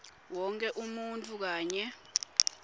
wonkhe umuntfu kanye